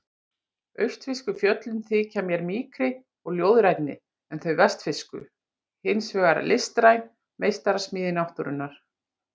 Austfirsku fjöllin þykja mér mýkri og ljóðrænni en þau vestfirsku hins vegar listræn meistarasmíði náttúrunnar.